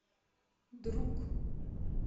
друг